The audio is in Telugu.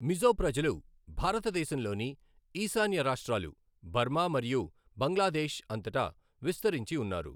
మిజో ప్రజలు భారతదేశంలోని ఈశాన్య రాష్ట్రాలు, బర్మా, మరియు బంగ్లాదేశ్ అంతటా విస్తరించి ఉన్నారు.